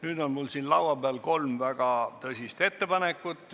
Nüüd on mul siin laua peal kolm väga tõsist ettepanekut.